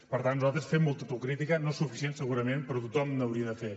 per tant nosaltres fem molta autocrítica no és suficient segurament però tothom n’hauria de fer